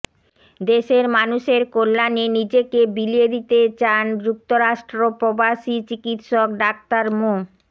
দেশের মানুষের কল্যাণে নিজেকে বিলিয়ে দিতে চান যুক্তরাষ্ট্র প্রবাসী চিকিৎসক ডাঃ মো